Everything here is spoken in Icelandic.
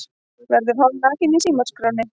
Verður hálfnakinn í símaskránni